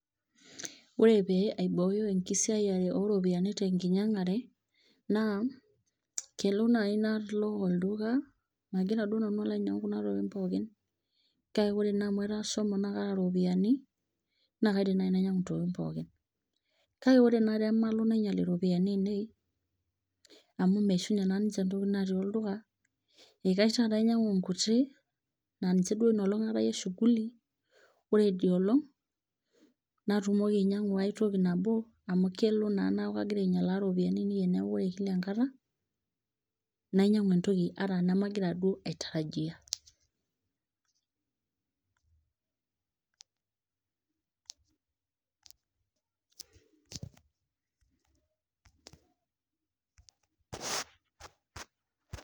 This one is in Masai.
Ore pee aibooyo enkisiayare oo ropiyiani tenkinyangare naa kelo naaji nalo olduka ,magira naaji nanu alo ainyangu kuna tokitin pookin kake ore naa amu ashomo naa kaata ropiyiani naa kaidim naa ainyangu kuna tokitin pookin ,kake ore naa pee malo nainyal ropiyiani ainei amuu meishunye naa ninche ntokitin naatii olduka, neikash taata ainyangu nkuti naa ninje ina olong aatayie shughuli ore idia olong natumoki ainyangu aitoki nabo amuu kelo naa neeku kagira ainyalaa ropiyiani ainei teneeku kila enkata nainyangu entoki ata enemagira duoo aitarajia .